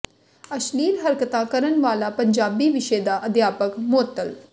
ਅਸ਼ਲੀਲ ਹਰਕਤਾ ਕਰਨ ਵਾਲਾ ਪੰਜਾਬੀ ਵਿਸ਼ੇ ਦਾ ਅਧਿਆਪਕ ਮੁਅੱਤਲ